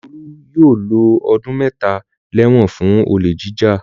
Olú yóò lo ọdún mẹ́ta lẹ́wọ̀n fún olè jíjà.